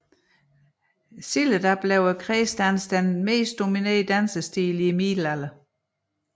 Senere blev kredsdansen den dominerende dansstilen i middelalderen